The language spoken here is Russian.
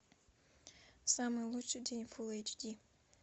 самый лучший день фулл эйч ди